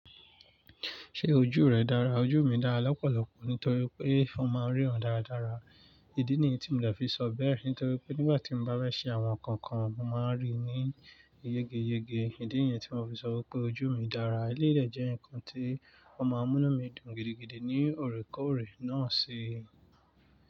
Ṣé ojú rẹ dára? Ojú mi dára lọ́pọ̀lọpọ̀ nítorí pé mo máa ń ríran dáradára. Ìdí nìyí tí mo fi sọ bẹ́ẹ̀ nítorí pé nígbà tí mo bá bẹ́ẹ̀ ṣe àwọn nǹkan kan màá ríi ní yegeyege. Ìdí nìyẹn tí mo fi sọ pé ojú mi dára. Ilé rẹ jẹ́ nǹkan tí wọ́n máa ń mú mí dùn gidigidi ní òrékọ̀ọ̀rẹ́ náà si.